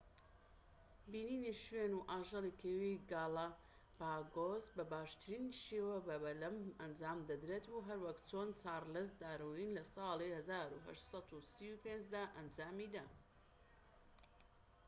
بینینی شوێن و ئاژەڵی کێوی گالەپاگۆس بە باشترین شێوە بە بەلەم ئەنجام دەدرێت، هەروەک چۆن چارڵز داروین لە ساڵی 1835 دا ئەنجامیدا‎